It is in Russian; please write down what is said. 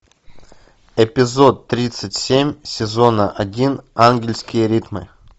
эпизод тридцать семь сезона один ангельские ритмы